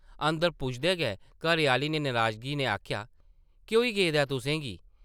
अंदर पुजदे गै घरै-आह्ली नै नराज़गी नै आखेआ, केह् होई गेदा ऐ, तुसें गी ?